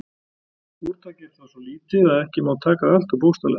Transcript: Úrtakið er þó svo lítið að ekki má taka það alltof bókstaflega.